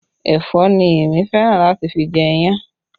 Ẹ̀fọ́ ni èmi fẹ́ràn láti fi jẹ iyan